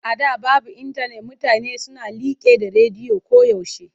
A da babu intanet mutane suna liƙe da rediyo koyaushe.